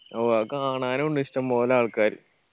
ഓ അത് കാണാനു ഇണ്ട് ഇഷ്ടംപോലെ ആൾക്കാര്